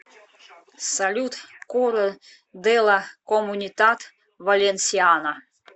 салют коро де ла комунитат валенсиана